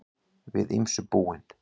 Við ýmsu búin